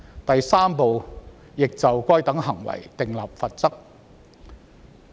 第3部亦就該等行為訂立罰則。